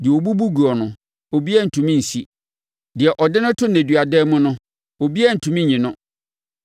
Deɛ ɔbubu guo no, obiara rentumi nsi; deɛ ɔde no to nneduadan mu no, obiara rentumi nyi no.